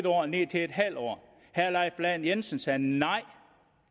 år og ned til en halv år herre leif lahn jensen sagde nej